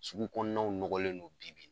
Sugu kɔnɔnaw nɔgɔlen don bi bi in na!